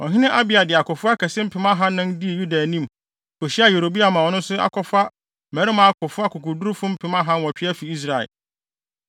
Ɔhene Abia de akofo akɛse mpem ahannan dii Yuda anim, kohyiaa Yeroboam a ɔno nso akɔfa mmarima akofo akokodurufo mpem ahanwɔtwe afi Israel.